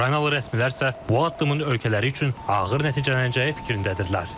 Ukraynalı rəsmilər isə bu addımın ölkələri üçün ağır nəticələnəcəyi fikrindədirlər.